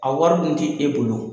A wari dun te e bolo